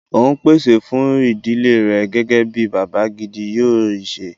O ń pèsè fún ìdílé rẹ̀ gẹ́gẹ́ bí bàbá gidi yóò ṣẹ